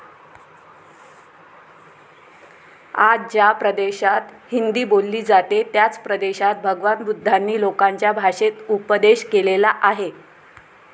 आज ज्या प्रदेशात हिंदी बोलली जाते त्याच प्रदेशात भगवान बुद्धांनी लोकांच्या भाषेत उपदेश केलेला आहे.